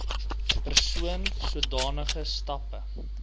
persoon sodanige stappe